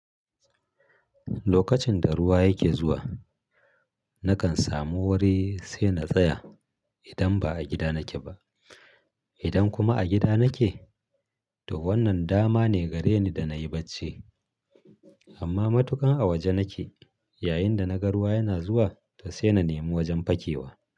Lokacin da ruwa yake zuwa, nakan samu wuri sai na tsaya idan ba a gida nake ba. Idan kuma a gida nake, to wannan dama ne gareni da na yi bacci. Amma matukan a waje nake yayin da na ga ruwa yana zuwa, to sai na nemi wajen fakewa.